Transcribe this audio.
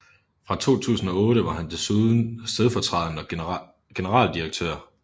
Fra 2008 var han desuden stedfortrædende generaldirektør